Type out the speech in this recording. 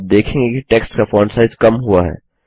आप देखेंगे कि टेक्स्ट का फॉन्ट साइज कम हुआ है